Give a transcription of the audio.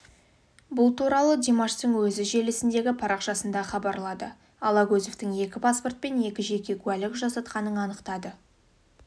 бұл туралы димаштың өзі желісіндегі парақшасында хабарлады алагөзовтың екі паспорт пен екі жеке куәлік жасатқанын анықтады